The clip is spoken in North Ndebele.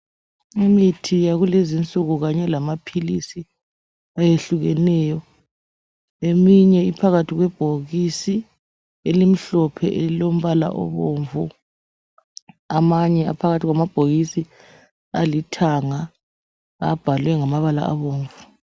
Imithi yakulezinsuku ikanye lamapills eminye iphakathi kwebhokisi elombala obomvu amanye aphakathi kwamabhokisi alithanga abhalwe ngamabala abomvu